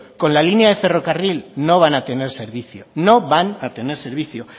con la línea de ferrocarril no van a tener servicio no van a tener servicio